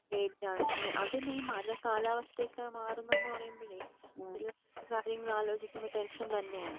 പേടിയാണ്അതന്നെ ഈ മഴ കാലാവസ്ഥയൊക്കെ മാറുന്നു എന്ന് പറയുമ്പഴെ പിള്ളാരുടെ കാര്യങ്ങൾ ആലോചിക്കുമ്പോ ടെൻഷൻ തന്നെയാണ്.